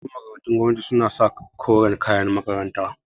Yawancin makarantun gwamnati su na sa koren kayan makaranta